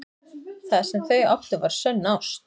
Það sem þau áttu var sönn ást.